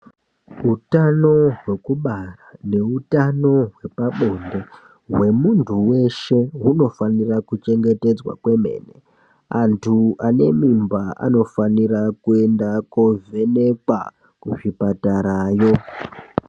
Hutano hwekubara nehutano hwepabonde hwemuntu weshe unofanira kuchengetedzwa kwemene antu ane mimba anofana kovhenekwa kuzvipatarayo.